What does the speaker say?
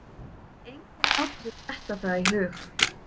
Það gat enginn látið sér detta það í hug.